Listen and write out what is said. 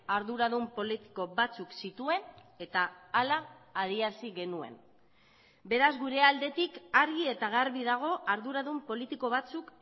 arduradun politiko batzuk zituen eta hala adierazi genuen beraz gure aldetik argi eta garbi dago arduradun politiko batzuk